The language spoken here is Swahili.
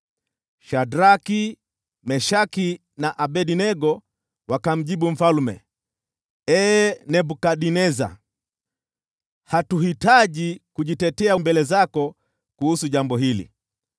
Shadraki, Meshaki na Abednego wakamjibu mfalme, “Ee Nebukadneza, hatuhitaji kujitetea mbele zako kuhusu jambo hili.